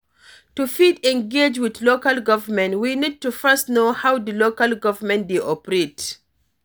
To fit engage with local government, we need to first know how di local government dey operate